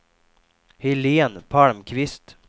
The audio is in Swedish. Helén Palmqvist